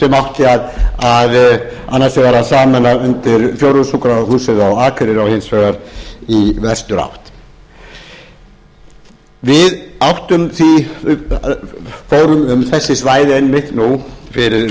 sauðárkróki sem átti annars vegar að sameina undir fjórðungssjúkrahúsinu á akureyri og hins vegar í vesturátt við fórum um þessi svæði einmitt nú fyrir um